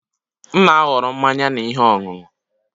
M na-ahọrọ mmanya na ihe ọṅụṅụ